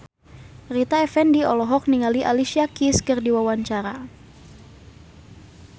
Rita Effendy olohok ningali Alicia Keys keur diwawancara